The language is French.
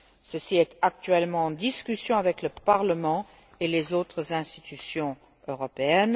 Ceci est actuellement en discussion avec le Parlement et les autres institutions européennes.